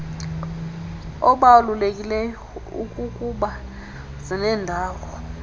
obalulekileyo ikukuba zinendawo